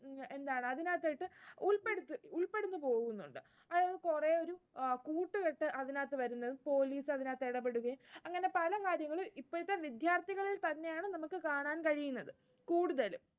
എന്താണ് അതിനകത്തേക്ക് ഉൾപ്പെട്ടു പോകുന്നുണ്ട്. അതായത് കുറെ ഒരു കൂട്ടുകെട്ട് അതിനകത്ത് വന്നു police അതിനകത്ത് ഇടപെടുകയും അങ്ങനെ പല കാര്യങ്ങളും ഇപ്പോഴത്തെ വിദ്യാർത്ഥികളിൽ തന്നെയാണ് നമുക്ക് കാണാൻ കഴിയുന്നത് കൂടുതലും